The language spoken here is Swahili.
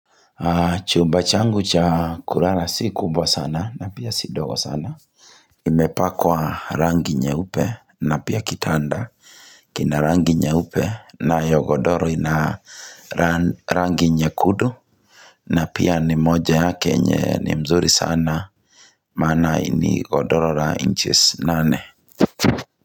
Chumba changu cha kulala si kubwa sana na pia si ndogo sana imepakwa rangi nyeupe na pia kitanda kina rangi nyeupe nayo godoro ina rangi rangi nyekundu na pia ni moja hake nye ni mzuri sana Mana hii ni godoro la inches nane.